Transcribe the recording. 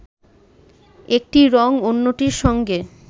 একটি রঙ অন্যটির সঙ্গে